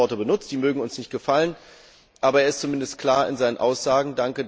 Er hat klare Worte benutzt, die mögen uns nicht gefallen, aber er ist zumindest klar in seinen Aussagen.